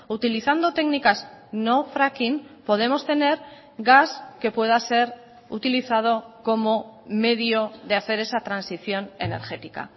utilizando técnicas no fracking podemos tener gas que pueda ser utilizado como medio de hacer esa transición energética